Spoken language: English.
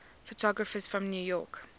photographers from new york